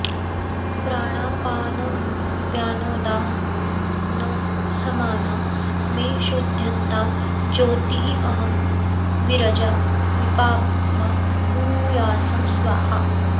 प्राणापानव्यानोदानसमाना मे शुध्यन्तां ज्योतिरहं विरजा विपाप्मा भूयासं स्वाहा